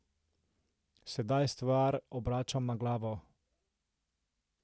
Sedaj stvar obračam na glavo.